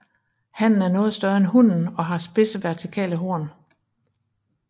Hannen er noget større end hunnen og har spidse vertikale horn